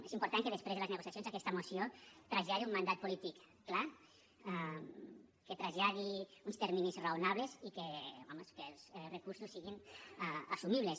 és important que després de les negociacions aquesta moció traslladi un mandat polític clar que traslladi uns terminis raonables i home que els recursos siguin assumibles